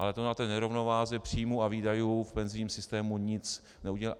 Ale to na té nerovnováze příjmů a výdajů v penzijním systému nic neudělá.